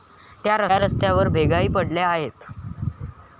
तर रस्त्यावर भेगाही पडल्या आहेत.